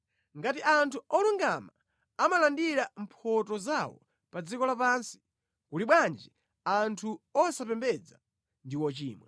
Ngati anthu olungama amalandira mphotho zawo pa dziko lapansi, kuli bwanji anthu osapembedza ndi ochimwa!